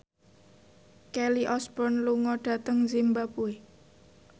Kelly Osbourne lunga dhateng zimbabwe